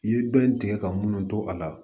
I ye dɔ in tigɛ ka munnu to a la